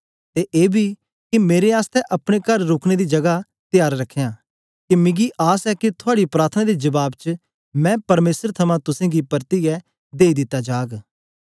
ते एबी के मेरे आसतै अपने कार रुकने दी जगा त्यार रखयां के मिगी आस ए के थुआड़ी प्रार्थना दे जबाब च मैं परमेसर थमां तुसेंगी परतियै देई दिता जाग